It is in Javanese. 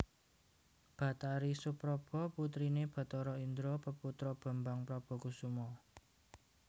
Bathari Supraba putriné Bathara Indra peputra Bambang Prabakusuma